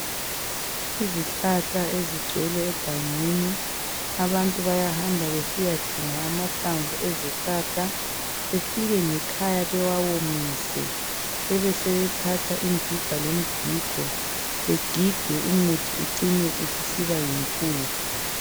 Izihlahla ezigcwele egangeni abantu bayahamba besiyadinga amahlamvu ezihlahla befike ngekhaya bewawomise besebethatha ingiga lomgigo begige umuthi ucine usiba yimpuphu.